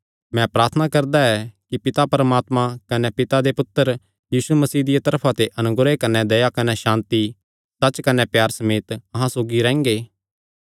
मैं प्रार्थना करदा ऐ कि पिता परमात्मा कने पिता दे पुत्तर यीशु मसीह दिया तरफा ते अनुग्रह कने दया कने सांति सच्च कने प्यारे समेत अहां सौगी रैंह्गे